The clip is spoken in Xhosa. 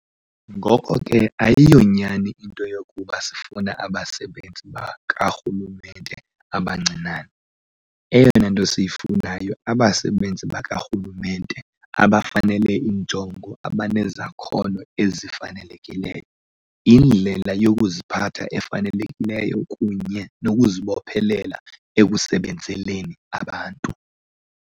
Ngoko ke ayonyani into yokuba sifuna abasebenzi bakarhulumente abancinane- eyona nto siyifunayo abasebenzi bakarhulumente abafanele injongo abanezakhono ezifanelekileyo, indlela yokuziphatha efanelekileyo kunye nokuzibophelela ekusebenzeleni abantu.